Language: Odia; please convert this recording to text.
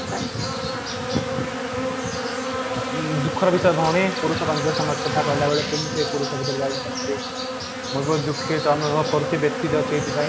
ହୁଁ ଦୁଃଖ ର ବିଷୟ କ'ଣ ପୁରୁଷ କେନ୍ଦ୍ରିକ ସମାଜ କଥା କହିଲା ବେଳେ କେମିତି ମୁଁ ବହୁତ ଦୁଃଖିତ ଅନୁଭବ କରୁଛି ବ୍ୟଥିତ ଅଛି ଏଇଥିପାଇଁ